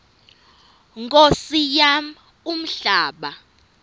nkosi yam umhlaba